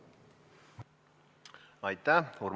Aitäh!